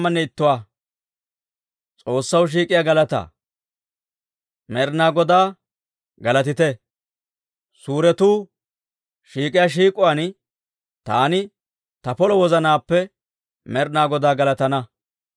Med'inaa Godaa galatite! Suuretuu shiik'iyaa shiik'uwaan, taani ta polo wozanaappe Med'inaa Godaa galatana.